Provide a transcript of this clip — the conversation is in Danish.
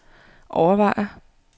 overvejer